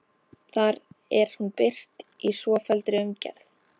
Þar er hún birt í svofelldri umgerð